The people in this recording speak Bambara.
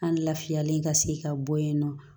An lafiyalen ka se ka bɔ yen nɔ